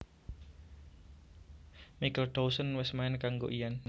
Michael Dawson wés main kanggo lan